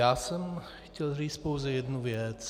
Já jsem chtěl říct pouze jednu věc.